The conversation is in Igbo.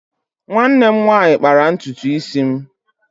Nwanne m nwanyị kpara ntutu isi m.